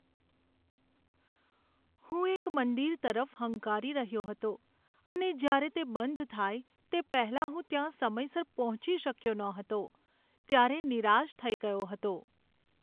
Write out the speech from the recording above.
હું એક મંદિર તરફ હંકારી રહ્યો હતો અને જ્યારે તે બંધ થાય તે પહેલાં હું ત્યાં સમયસર પહોંચી શક્યો ન હતો ત્યારે નિરાશ થઈ ગયો હતો.